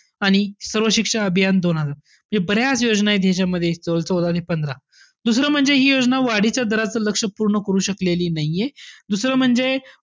आणि सर्वशिक्षण अभियान दोन हजार. बऱ्याच योजना आहे त्याच्यामध्ये चौदा आणि पंधरा. दुसरं म्हणजे हि योजना वाढीच्या दराचं लक्ष्य पूर्ण करू शकलेली नाहीये. दुसरं म्हणजे,